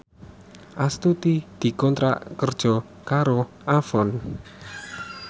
Astuti dikontrak kerja karo Avon